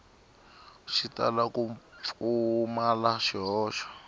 xi tala ku pfumala swihoxo